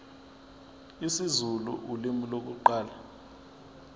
isizulu ulimi lokuqala